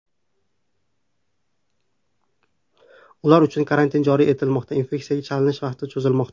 Ular uchun karantin joriy etilmoqda, infeksiyaga chalinish vaqti cho‘zilmoqda.